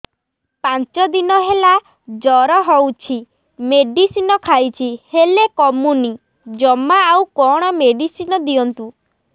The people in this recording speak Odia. ପାଞ୍ଚ ଦିନ ହେଲା ଜର ହଉଛି ମେଡିସିନ ଖାଇଛି ହେଲେ କମୁନି ଜମା ଆଉ କଣ ମେଡ଼ିସିନ ଦିଅନ୍ତୁ